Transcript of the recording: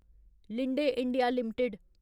Linde India limited